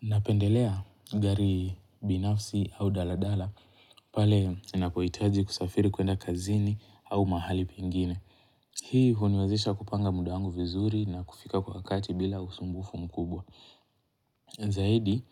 Napendelea gari binafsi au daladala pale ninapohitaji kusafiri kuenda kazini au mahali pengine. Hii huniwezisha kupanga muda wangu vizuri na kufika kwa wakati bila usumbufu mkubwa. Zahidi,